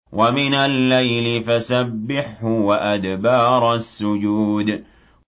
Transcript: وَمِنَ اللَّيْلِ فَسَبِّحْهُ وَأَدْبَارَ السُّجُودِ